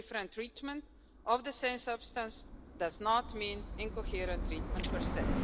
Different treatment of the same substance does not mean incoherent treatment per se.